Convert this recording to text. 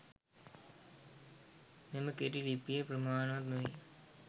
මෙම කෙටි ලිපිය ප්‍රමාණවත් නොවේ.